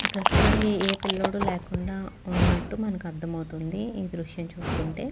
ప్రస్తుతానికి ఏ పిల్లోడు లేకుండా ఉన్నట్టు మనకి అర్దమవుతుంది. ఈ దృశ్యం చూస్తుంటే.